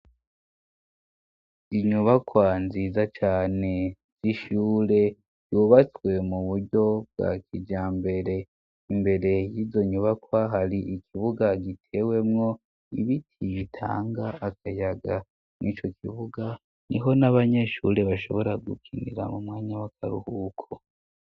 Inyubakwa nziza cane zishure yubatswe mu buryo bwa kija mbere imbere y'izo nyubakwa hari ikibuga gitewemwo ibiti bitanga akayaga mwo'ico kibuga ni ho n'abanyeshure bashobora gukinira mu mwanya wake abwuko.